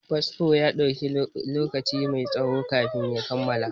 Fasfo ya ɗauki lokaci mai tsaho kafin ya kammala.